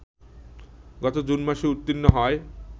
গত জুন মাসেই উত্তীর্ণ হয়